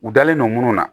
U dalen no munnu na